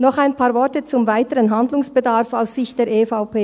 Noch ein paar Worte zum weiteren Handlungsbedarf aus Sicht der EVP.